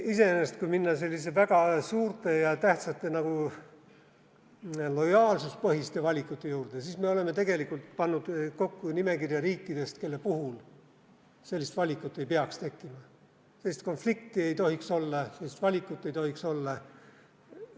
Iseenesest, kui minna selliste väga suurte ja tähtsate lojaalsuspõhiste valikute juurde, siis me oleme tegelikult pannud kokku nimekirja riikidest, kelle puhul sellist valikut ei peaks tekkima, sellist konflikti ei tohiks olla, sellist valikut ei tohiks olla.